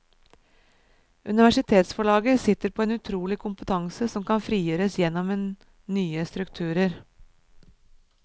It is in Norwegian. Universitetsforlaget sitter på en utrolig kompetanse som kan frigjøres gjennom en nye strukturer.